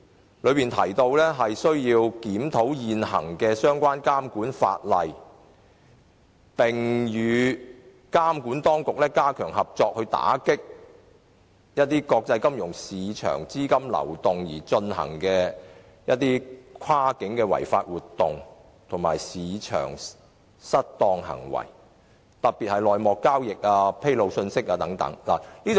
他的修正案提到，"政府亦應檢討現行相關監管法例，並與內地監管當局加強合作，打擊任何透過兩地及國際金融市場資金流動而進行的跨境違法活動及市場失當行為，特別是內幕交易及披露信息的監管"。